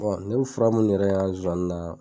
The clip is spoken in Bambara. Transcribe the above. ne bi fura munnu yɛrɛ an ŋa zoani naa